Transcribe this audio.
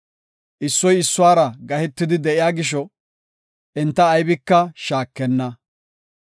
Issoy issuwara gahetidi de7iya gisho, enta aybika shaakenna.